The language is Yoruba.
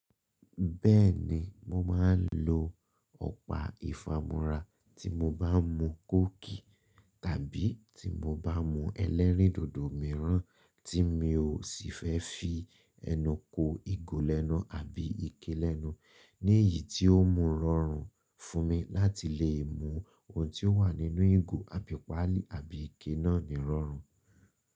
Bẹ́ẹ̀ni, mo máa ń lo ọ̀pá ìfamura tí mo bá ń mu kókì tàbí tí mo bá ń mu ẹlẹ́rìndòdò mìíràn tí mi ò sì fẹ́ fi ẹnu ko igo lenu abí ikélẹ́nú, ní ìyí tí ó mu rọrùn fún mi láti lè mu ohun tí ó wà nínú igo àbí páàlì àbí ike náà ní rọrùn.